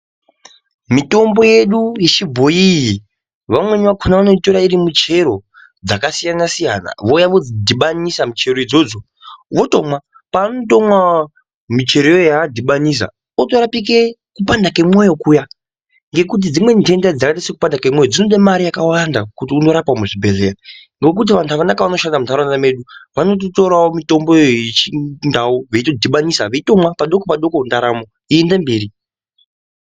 Mitombo yedu yechibhoii iyi vamweni vakona vanoitora iri michero dzakasiyana-siyana vouya vodzidhibanisa muchero idzodzo votomwa. Paunotomwa muchero iyoyo vadhibanisa otorapike kupanda kwemyoyo kuya. Ngekuti dzimweni ntenda dzakaite sekupanda kwemwoyo kunode mare yakawanda kuti mundorapwa muzvibhedhlera. Ngokuti vantu vakanaka vanoshanda muntaraunta mwedu anototoravo mitomboyo yechindau veitodhibanisa veitomwa padoko-padoko ndaramo yoenda mberi.